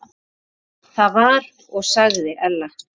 Það var og sagði Ella.